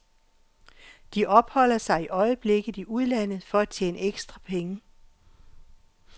De opholder sig i øjeblikket i udlandet for at tjene ekstra penge.